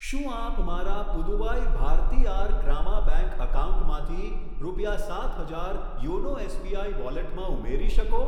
શું આપ મારા પુદુવાઈ ભારથીઆર ગ્રામા બેંક એકાઉન્ટમાંથી રૂપિયા સાત હજાર યોનો એસબીઆઈ વોલેટમાં ઉમેરી શકો?